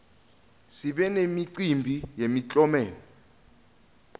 sibe nemicimbi yemiklomelo